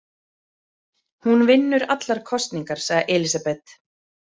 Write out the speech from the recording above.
Hún vinnur allar kosningar, sagði Elísabet.